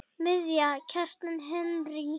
Miðja: Kjartan Henry